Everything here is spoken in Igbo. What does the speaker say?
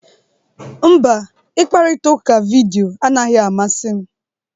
Mba, ịkparịta ụka vidiyo anaghị amasị m.